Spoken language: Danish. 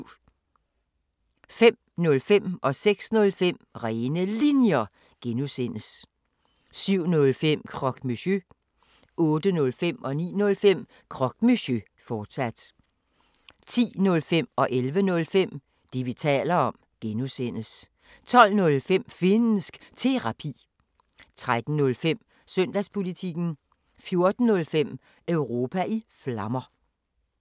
05:05: Rene Linjer (G) 06:05: Rene Linjer (G) 07:05: Croque Monsieur 08:05: Croque Monsieur, fortsat 09:05: Croque Monsieur, fortsat 10:05: Det, vi taler om (G) 11:05: Det, vi taler om (G) 12:05: Finnsk Terapi 13:05: Søndagspolitikken 14:05: Europa i Flammer